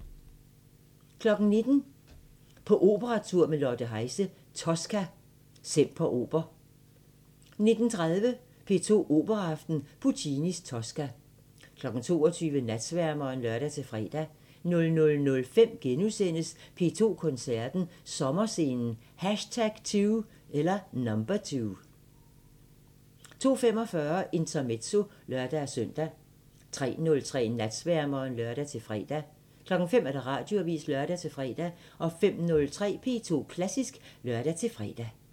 19:00: På operatur med Lotte Heise – Tosca, Semper Oper 19:30: P2 Operaaften – Puccinis Tosca 22:00: Natsværmeren (lør-fre) 00:05: P2 Koncerten – Sommerscenen #2 * 02:45: Intermezzo (lør-søn) 03:03: Natsværmeren (lør-fre) 05:00: Radioavisen (lør-fre) 05:03: P2 Klassisk (lør-fre)